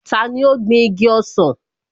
Tani ó gbin igi ọsàn?